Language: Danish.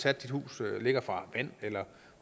at huset ligger fra vand eller